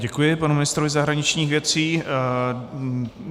Děkuji panu ministrovi zahraničních věcí.